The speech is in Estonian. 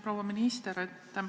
Proua minister!